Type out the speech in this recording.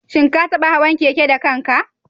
Shin ka taɓa hawan keke da kanka?